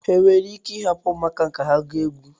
Enwere ike ịhapụ ụmụaka ahụ ka ha gụọ egwu.